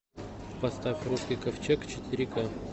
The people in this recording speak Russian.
поставь русский ковчег четыре ка